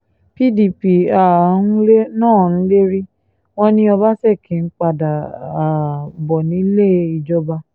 pdp um náà ń lérí wọn ni ọbaṣẹ́kí ń padà um bọ̀ nílé ìjọba